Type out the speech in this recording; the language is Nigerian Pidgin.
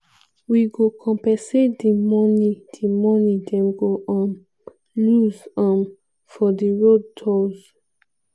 wey go compensate di moni di moni dem go um lose um for di road tolls.